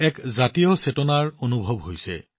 এটা চেতনাৰ অনুভৱ হৈছে